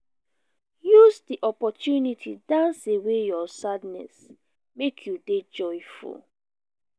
use di opportunity dance away your sadness make you de joyful